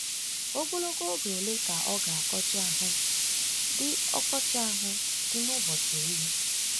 Ogologo oge ole ka oké ọkọchị ahụ dị ọkọchị ahụ dị n'ụbọchị eli?